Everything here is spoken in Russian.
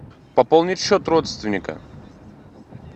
пополнить счет родственника